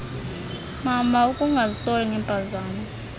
mama ukungazisoli ngeempazamo